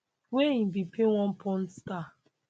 wey im bin pay one porn star